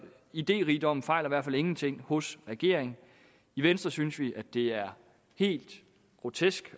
idérigdommen fejler i hvert fald ingenting hos regeringen i venstre synes vi det er helt grotesk